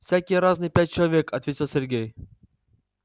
всякие разные пять человек ответил сергей